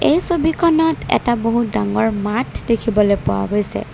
এই ছবিখনত এটা বহুত ডাঙৰ মাথ দেখিবলৈ পোৱা গৈছে।